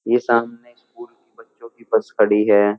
ये सामने स्कूल बच्चों की बस खड़ी है।